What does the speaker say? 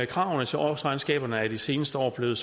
kravene til årsregnskaberne er i de seneste år blevet